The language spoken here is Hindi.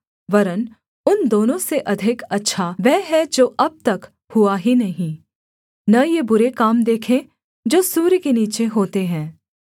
वरन् उन दोनों से अधिक अच्छा वह है जो अब तक हुआ ही नहीं न यह बुरे काम देखे जो सूर्य के नीचे होते हैं